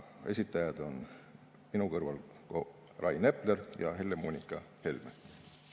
Esitajad on minu kõrval Rain Epler ja Helle-Moonika Helme.